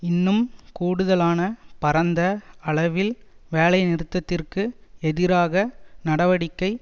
இன்னும் கூடுதலான பரந்த அளவில் வேலைநிறுத்தத்திற்கு எதிராக நடவடிக்கை